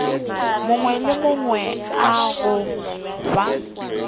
mangwe le a mangwe goba